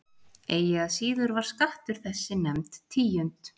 Eigi að síður var skattur þessi nefnd tíund.